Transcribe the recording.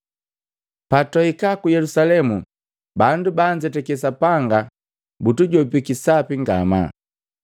Patwaika ku Yelusalemu, bandu baanzetake Sapanga butujopiki sapi ngamaa.